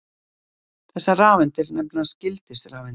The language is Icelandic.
þessar rafeindir nefnast gildisrafeindir